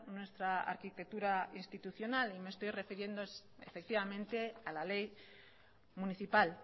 nuestra arquitectura institucional y me estoy refiriendo efectivamente a la ley municipal